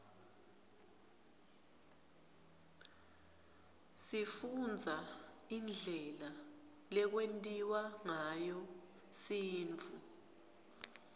sifundza indlela lekwentiwa ngayo sintfu